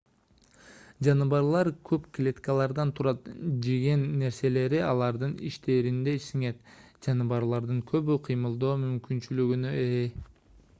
жаныбарлар көп клеткалардан турат жеген нерселери алардын ичтеринде сиңет жаныбарлардын көбү кыймылдоо мүмкүнчүлүгүнө ээ